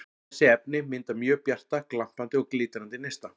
Þessi efni mynda mjög bjarta, glampandi og glitrandi neista.